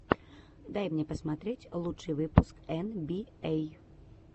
дай мне посмотреть лучший выпуск эн би эй